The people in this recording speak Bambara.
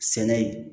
Sɛnɛ